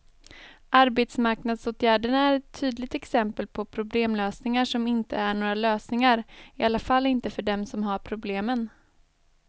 Arbetsmarknadsåtgärderna är ett tydligt exempel på problemlösningar som inte är några lösningar, i alla fall inte för dem som har problemen.